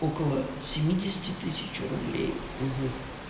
около семидесяти тысяч рублей